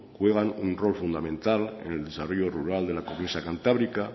juegan un rol fundamental en el desarrollo rural de la cornisa cantábrica